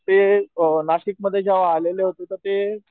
ते अ नाशिक मध्ये जेव्हा आलेले होते तर ते